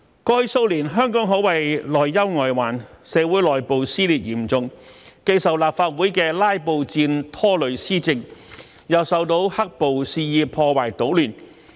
過去數年，香港可謂內憂外患：社會內部撕裂嚴重，既受立法會的"拉布戰"拖累施政，又受到"黑暴"肆意破壞搗亂。